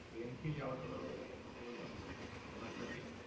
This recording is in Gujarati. ટ્રેન થી જાઓ તો એ અનુભવ જ આપવાનો છે. તારી વાત સાચી છે.